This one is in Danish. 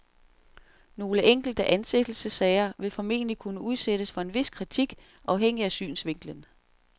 Nogle enkelte ansættelsessager vil formentlig kunne udsættes for en vis kritik, afhængig af synsvinkelen.